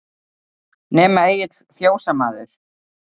Nema Egill fjósamaður.